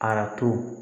Arajo